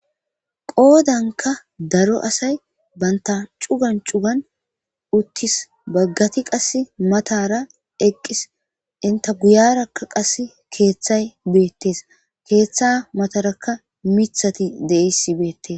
qoodanka daro asay banta cugan cugan uttis baggati qas matara eqqis inta guyarakka qass keeththay beettees keeththa matarakka mithati deis beettes